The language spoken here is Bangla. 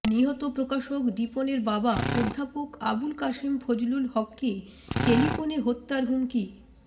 নিহত প্রকাশক দীপনের বাবা অধ্যাপক আবুল কাসেম ফজলুল হককে টেলিফোনে হত্যার হুমকি